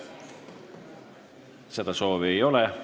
Seda soovi ei ole.